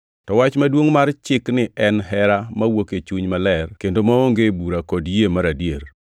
To wach maduongʼ mar Chikni en hera mawuok e chuny maler kendo maonge bura kod yie mar adier.